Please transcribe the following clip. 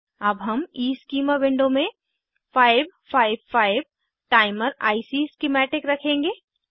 अब हम Eeschema window में 555 टाइमर आईसी स्कीमेटिक रखेंगे